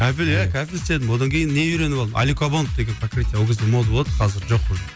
кафель ие кафель істедім одан кейін не үйреніп алдым алюкобонд деген покрытие ол кезде мода болатын қазір жоқ уже